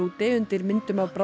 undir myndum af